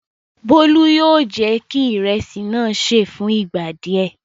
Bólú yóò jẹ́ kí ìrẹsì náà ṣé è fún ìgbà díẹ̀.